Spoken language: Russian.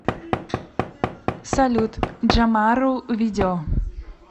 салют джамару видео